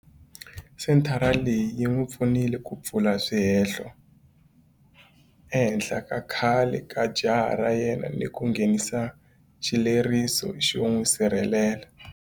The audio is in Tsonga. Senthara leyi yi n'wi pfunile ku pfula swihehlo ehenhla ka khale ka jaha ra yena ni ku nghenisa xileriso xo n'wi sirhelela.